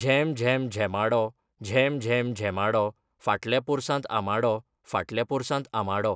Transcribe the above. झेम झेम झेमाडो, झेम झेम झेमाडो फाटल्या पोरसांत आंबाडो, फाटल्या पोरसांत आंबाडो.